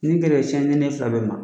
Nin gɛrɛ o ye tiɲɛni ye ne fila bɛɛ ma